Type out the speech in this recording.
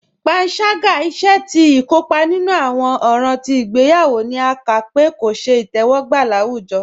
Pànságá, ìṣè tí ikópa nínu awọn òràn tí igbèyawo, ní à ká pé kò ṣẹ̀ itẹwọgba láwùjọ.